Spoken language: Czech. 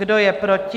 Kdo je proti?